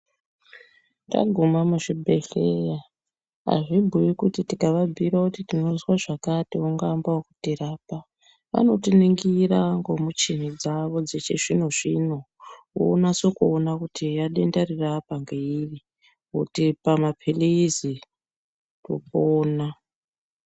Tagume muzvibhehleya azvibhuyi kuti tikababhuyira kuti tinozwa zvakati vangamba kutirapa. Vanotiningira nemichina dzavo dzechizvinozvino vonase kuona kuti eya denda riri apa ngeiri votipa mapilizi topona.